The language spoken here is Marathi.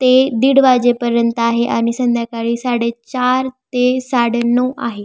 ते दीड वाजेपर्यंत आहे आणि संध्याकाळी साडे चार ते साडे नऊ आहे.